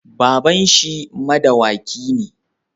baban shi madawaki ne